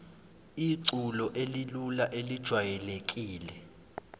iculo elilula elijwayelekile